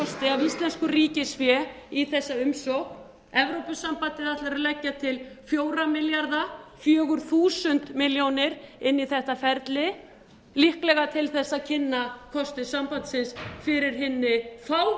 af íslensku ríkisfé í þessa umsókn evrópusambandið ætlar að leggja til fjögurra milljarða króna fjögur þúsund milljónir króna inn í þetta ferli líklega til þess að kynna kosti sambandsins fyrir hinni fávísu